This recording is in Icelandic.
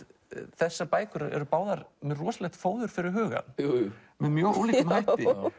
þessar bækur eru báðar með rosalegt fóður fyrir hugann með mjög ólíkum hætti